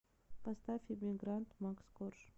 поставь эмигрант макс корж